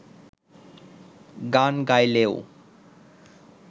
গান গাইলেও